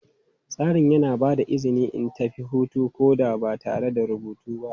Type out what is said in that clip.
Tsarin yana ba da izini in tafi hutu ko da ba tare da rubutu ba.